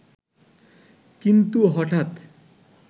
কিন্ত হঠাৎ